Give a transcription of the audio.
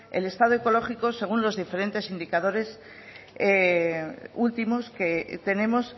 el estado ecológico según los diferentes indicadores últimos que tenemos